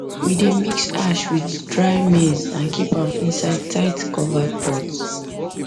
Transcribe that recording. we dey mix ash with dry maize and keep am inside tightcovered pot